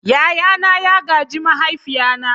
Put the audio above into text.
Yayana ya gaji mahaifina.